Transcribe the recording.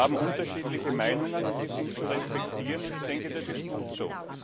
Wir haben unterschiedliche Meinungen und die sind zu respektieren, und ich denke, das ist gut so.